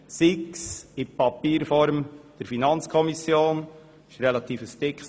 Die FiKo erhält die Unterlagen in Papierform.